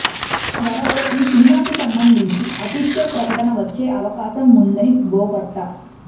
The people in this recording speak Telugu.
త్వరలో ఈ సినిమాకి సంబంధించి అఫీషియల్ ప్రకటన వచ్చే అవకాశం ఉందని బోగట్టా